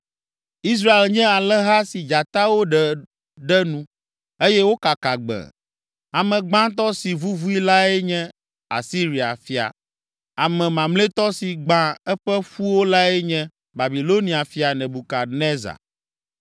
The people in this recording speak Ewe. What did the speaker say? “Israel nye alẽha si dzatawo ɖe ɖe nu, eye wokaka gbẽe. Ame gbãtɔ si vuvui lae nye Asiria fia ame mamlɛtɔ si gbã eƒe ƒuwo lae nye Babilonia fia Nebukadnezar.”